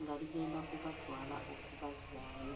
nga ligenda kubatwala okubazzaayo.